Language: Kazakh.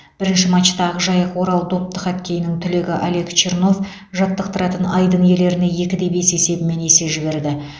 бірінші матчта ақжайық орал допты хоккейінің түлегі олег чернов жаттықтыратын айдын иелеріне екі де бес есебімен есе жіберді